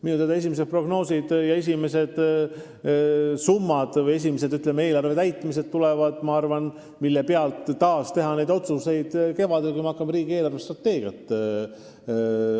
Minu teada esimesed prognoosid ja esialgsed summad või, ütleme, info eelarve täitumise kohta, mille pealt teha uusi otsuseid, tulevad kevadel, kui me hakkame arutama riigi eelarvestrateegiat.